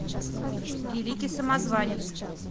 великий самозванец